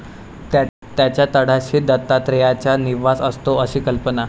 त्याच्या तळाशी दत्तात्रेयाचा निवास असतो अशी कल्पना.